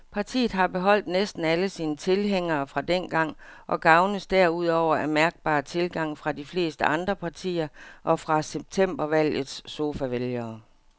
Partiet har beholdt næsten alle sine tilhængere fra dengang og gavnes derudover af mærkbar tilgang fra de fleste andre partier og fra septembervalgets sofavælgere.